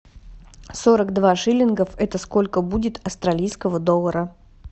сорок два шиллингов это сколько будет австралийского доллара